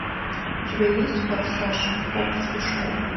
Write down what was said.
у тебя есть форсаж хоббс и шоу